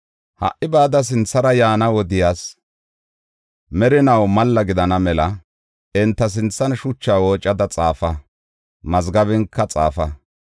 Ha77i bada sinthara yaana wodiyas merinaa malla gidana mela enta sinthan shuchaa woocada xaafa; mazgabenka xaafa.